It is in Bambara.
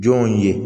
Jɔn ye